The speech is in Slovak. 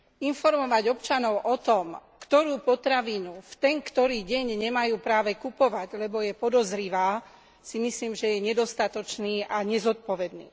Informovať občanov o tom, ktorú potravinu, v ten ktorý deň nemajú práve kupovať, lebo je podozrivá, si myslím, že je nedostatočné a nezodpovedné.